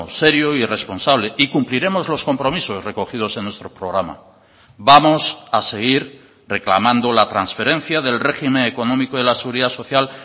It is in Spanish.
serio y responsable y cumpliremos los compromisos recogidos en nuestro programa vamos a seguir reclamando la transferencia del régimen económico de la seguridad social